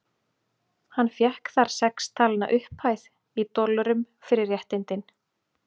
Hann fékk þar sex talna upphæð, í dollurum, fyrir réttindin.